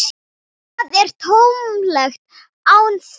Það er tómlegt án þín.